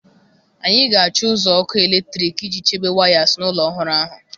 Anyị ga-achọ ụzọ ọkụ eletrik iji chebe wires na ụlọ ọhụrụ ahụ